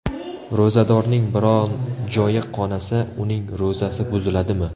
Ro‘zadorning biron joyi qonasa, uning ro‘zasi buziladimi?